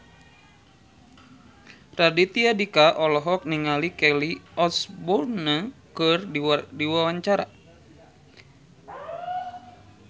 Raditya Dika olohok ningali Kelly Osbourne keur diwawancara